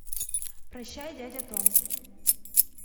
прощай дядя том